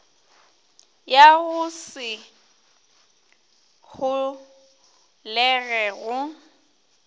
ya go se holege go